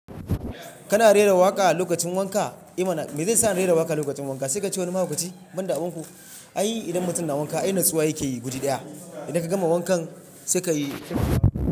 Kana rera waƙa lokacin wanka? I mana me zai sa na rera waƙa lokacin wanka? Sai ka ci wani mahaukaci. Ban da abun ku an yi idan mutum na wanka ai nutsuwa yake yi gudu daya. Idan ka gama wankan sai ka yi.